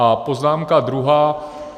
A poznámka druhá.